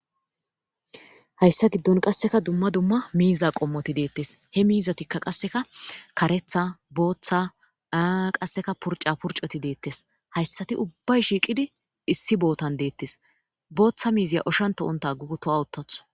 hayssa giddon qasseka dumma dumma miiza qommoti deettes he miizatikka qasseka karetha booththa aa qasseka purca purcoti deettes hayssati ubbay shiiqidi issi bootan deettes booththa miiziya oshanto7onta gugutowawuttathu